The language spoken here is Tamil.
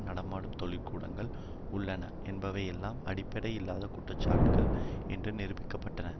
நடமாடும் தொழிற்கூடங்கள் உள்ளன என்பவை எல்லாம் அடிப்படையில்லாத குற்றச்சாட்டுக்கள் என்று நிரூபிக்கப்பட்டன